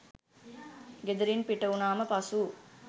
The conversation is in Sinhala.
ගෙදරින් පිටවුණාම පසු